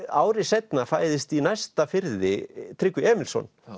ári seinna fæðist í næsta firði Tryggvi Emilsson